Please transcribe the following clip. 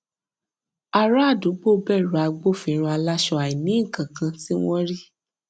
ará àdúgbò bẹrù agbófinró aláṣọ àìnínnkankan tí wọn rí